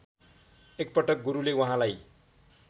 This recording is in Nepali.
एकपटक गुरुले उहाँलाई